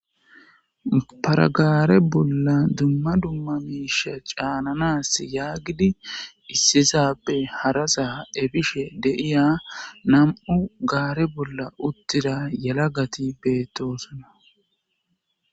paragare bolla dumma dumma miisha caananas yaagidi issizappe harasa efishe deiya nam7u gaare bolla uttira yala gati beettoosana